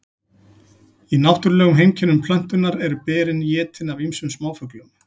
í náttúrulegum heimkynnum plöntunnar eru berin étin af ýmsum smáfuglum